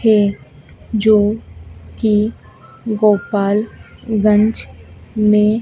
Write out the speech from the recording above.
है जो की गोपाल गंज में--